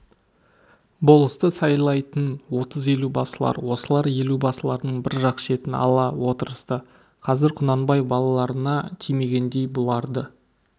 болысты сайлайтын отыз елубасылар осылар елубасылардың бір жақ шетін ала отырысты қазір құнанбай балаларына тимегендей бұларды